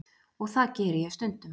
Og það geri ég stundum.